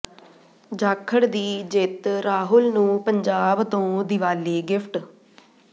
ਜਾਖੜ ਦੀ ਜਿੱਤ ਰਾਹੁਲ ਨੂੰ ਪੰਜਾਬ ਤੋਂ ਦਿਵਾਲੀ ਗਿਫਟ